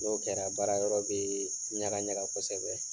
N'o kɛra baara yɔrɔ bɛ ɲaga ɲaga kosɛbɛ,